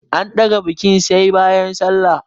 An ɗaga bikin sai bayan sallah.